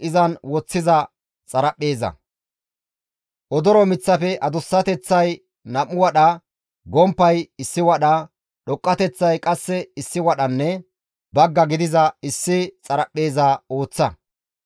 «Odoro miththafe adussateththay nam7u wadha, gomppay issi wadha, dhoqqateththay qasse issi wadhanne bagga gidiza issi xaraphpheeza ooththa.